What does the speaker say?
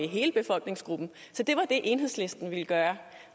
hele befolkningsgruppen så det var det enhedslisten ville gøre